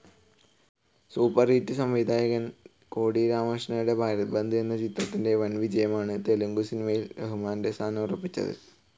Superhit സംവിധായകനായ കോടി രാമകൃഷ്ണയുടെ ഭാരത് ബന്ദ് എന്ന ചിത്രത്തിന്റെ വൻവിജയമാണ് തെലുഗു സിനിമയിൽ റഹ്മാന്റെ സ്ഥാനം ഉറപ്പിച്ചത്.